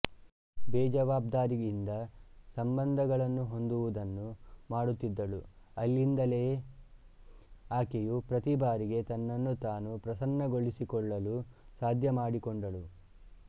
ಬೇಜಾವಾಬ್ದಾರಿಯಿಂದ ಸಂಬಂಧಗಳನ್ನು ಹೊಂದುವುದನ್ನು ಮಾಡುತ್ತಿದ್ದಳು ಅಲ್ಲಿಂದಲೇ ಆಕೆಯು ಪ್ರತಿ ಭಾರಿಗೆ ತನ್ನನ್ನು ತಾನು ಪ್ರಸನ್ನಗೊಳಿಸಿಕೊಳ್ಳಲ್ಲು ಸಾಧ್ಯ ಮಾಡಿಕೊಂಡಳು